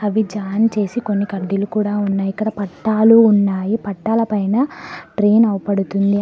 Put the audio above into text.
అవి జాంట్ చేసి కొన్ని కడ్డీలు కూడా ఉన్నయి ఇక్కడ పట్టాలు ఉన్నాయి పట్టాల పైన ట్రేన్ అవ్పడుతుంది.